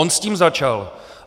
On s tím začal.